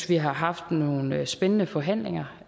vi har haft nogle spændende forhandlinger